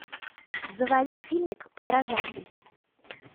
заводи фильмик подражатель